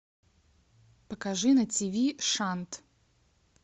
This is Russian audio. покажи на ти ви шант